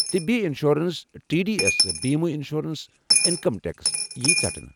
طبی insurance, T D S بمیہ insurance انہٕ ٹیکس یی ژٹنہٕ ۔